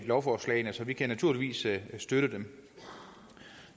lovforslagene så vi kan naturligvis støtte dem